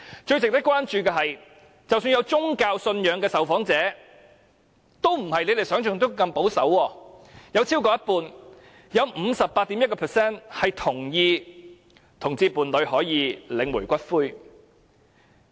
最值得關注的是，即使有宗教信仰的受訪者也並不如你們想象中般保守，有超過一半同意同性伴侶可以領取伴侶的骨灰。